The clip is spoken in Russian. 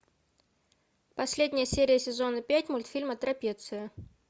последняя серия сезона пять мультфильма трапеция